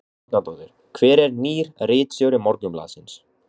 Helga Arnardóttir: Hver er nýr ritstjóri Morgunblaðsins?